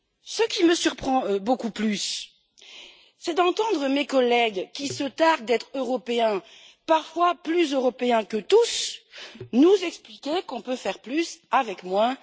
Ce qui me surprend beaucoup plus, c'est d'entendre mes collègues qui se targuent d'être européens, parfois plus européens que tous, nous expliquer qu'on peut faire plus avec moins.